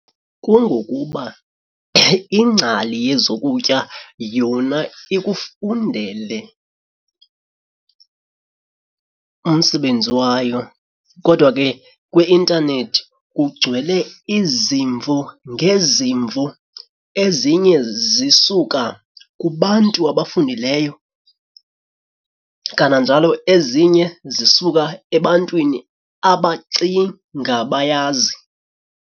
Kungokuba ingcali yezokutya yona ikufundele umsebenzi wayo kodwa ke kwi-intanethi kugcwele izimvo ngezimvo, ezinye zisuka kubantu abafundileyo kananjalo ezinye zisuka ebantwini abacinga bayazi.